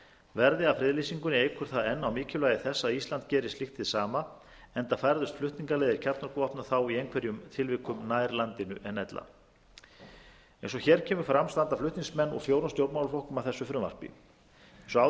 verði af friðlýsingunni eykur það enn á mikilvægi þess að ísland geri slíkt hið sama enda færðust flutningaleiðir kjarnorkuvopna þá í einhverjum tilvikum nær landinu en ella eins og hér kemur fram standa flutningsmenn úr fjórum stjórnmálaflokkum að þessu frumvarpi eins og áður